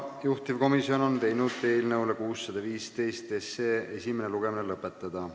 Juhtivkomisjon on teinud ettepaneku eelnõu 615 esimene lugemine lõpetada.